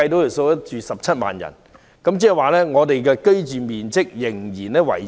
如果安排17萬人入住，市民的居住面積仍很細小。